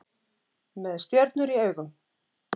Með stjörnur í augum